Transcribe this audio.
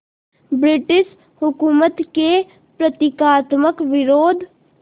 British हुकूमत के प्रतीकात्मक विरोध